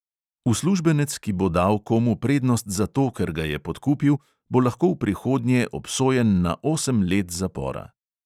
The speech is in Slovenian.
Uslužbenec, ki bo dal komu prednost zato, ker ga je podkupil, bo lahko v prihodnje obsojen na osem let zapora.